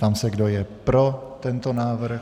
Ptám se, kdo je pro tento návrh.